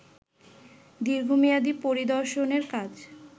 দীর্ঘমেয়াদী পরিদর্শনের কাজ